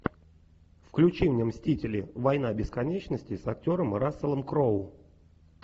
включи мне мстители война бесконечности с актером расселом кроу